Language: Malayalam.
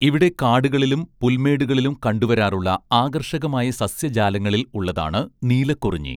ഇവിടെ കാടുകളിലും പുൽമേടുകളിലും കണ്ടുവരാറുള്ള ആകർഷകമായ സസ്യജാലങ്ങളിൽ ഉള്ളതാണ് നീലക്കുറിഞ്ഞി